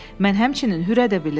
Mən həmçinin hürə də bilərəm.